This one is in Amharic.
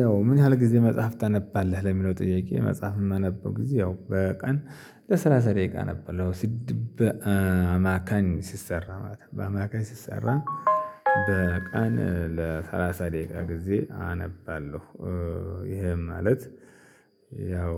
ያው ምን ያህል ጊዜ መጽሐፍ ታነባለህ ለሚለው ጥያቄ? መጽሐፍ የማነበው ጊዜ ያው በቀን ለሰላሳ ደቂቃ አነባለሁ ያውሲድብ በአማካኝ ሲሰራ ማለት ነው በአማካኝ ሲሰራ በቀን ለሰላሳ ደቂቃ ጊዜ አነባለሁ። ይሄም ማለት ያው